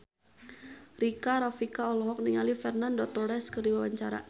Rika Rafika olohok ningali Fernando Torres keur diwawancara